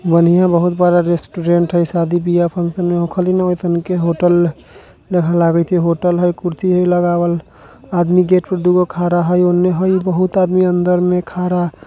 बन्हिया बहुत बड़ा रेस्टोरेट है सादी बिबाह फैशन में रेस्टोरेट खाली लगत है। होटल लगत है कुर्सी है लगाए आदमी दुगो गेट पे खड़ा है ऑन है बहुत आदमी अदर में खरा है।